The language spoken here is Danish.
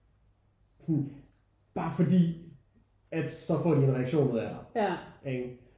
Sådan bare fordi at så får de en reaktion ud af dig ikke?